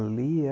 Ali é...